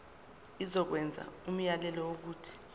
izokwenza umyalelo wokuthi